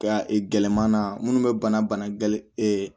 Ka gɛlɛma na munnu be bana bana gɛ